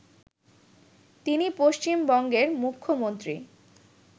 তিনি পশ্চিমবঙ্গের মুখ্যমন্ত্রী